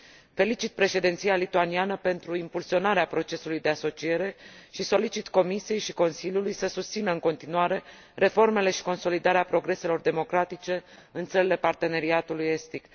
Felicit președinția lituaniană pentru impulsionarea procesului de asociere și solicit Comisiei și Consiliului să susțină în continuare reformele și consolidarea progreselor democratice în țările Parteneriatului estic.